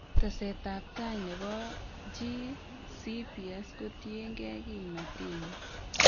Teset ab taai nebo GCPS kotiengei kimnotenyi